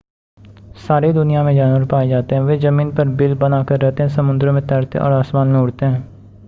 सारी दुनिया में जानवर पाए जाते हैं वे ज़मीन पर बिल बनाकर रहते हैं समुद्रों में तैरते और आसमान में उड़ते हैं